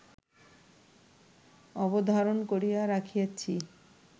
অবধারণ করিয়া রাখিয়াছি